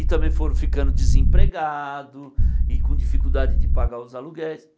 E também foram ficando desempregados e com dificuldade de pagar os aluguéis.